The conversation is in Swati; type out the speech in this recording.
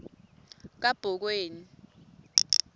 kabhokweni